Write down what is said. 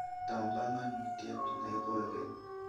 Taun panganutiet neikogen